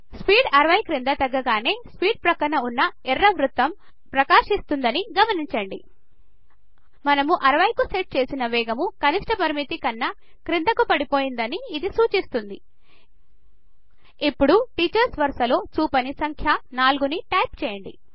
speed 60 క్రింద తగ్గగానే speed ప్రక్కన ఉన్న ఎరుపు వృత్తం ప్రకాశిస్తూదని గమనించండి మనము 60 కు సెట్ చేసిన వేగము కనిష్ట పరిమితి కన్న క్రిందకు పడిపోయిందని ఇది సూచిస్తుంది ఇప్పుడు టీచర్స్ వరస లో చూపని సంఖ్య 4 ను టైప్ చేయండి